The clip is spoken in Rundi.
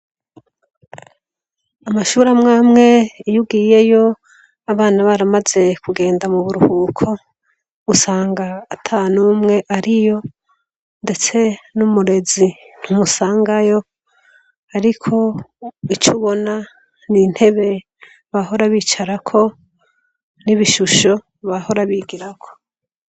Amashure amwe amwe, iyo ugiyeyo abana baramaze kugenda mu buruhuko, usanga ata n'umwe ariyo, ndetse n'umurezi ntumusangayo, ariko ico ubona, ni intebe bahora bicarako n'ibishusho bahora bigirako.